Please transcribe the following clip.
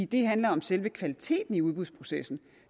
det handler om selve kvaliteten i udbudsprocessen